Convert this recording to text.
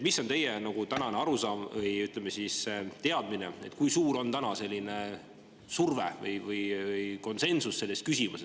Mis on teie arusaam või, ütleme, teadmine, kui suur on praegu surve või konsensus selles küsimuses?